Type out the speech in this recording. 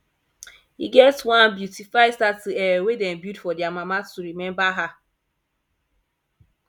e get one beautify statue um wey dey build for dia mama to remember her